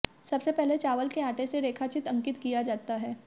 सबसे पहले चावल के आटे से रेखाचित्र अंकित किया जाता है